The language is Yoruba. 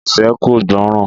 Ìfẹ́ kò gbọ́ràn